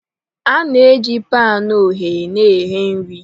A na-eji panu ogheye na eghe nri.